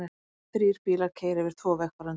Þrír bílar keyra yfir tvo vegfarendur